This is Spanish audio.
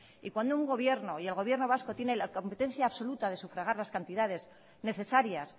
y cuando un gobierno y el gobierno vasco tiene la competencia absoluta de sufragar las cantidades necesarias